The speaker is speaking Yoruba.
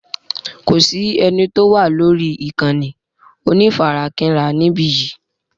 Kò sí eni tó wà lórí ìkànnì onífarakínra níbí yìí.